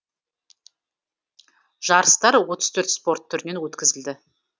жарыстар отыз төрт спорт түрінен өткізілді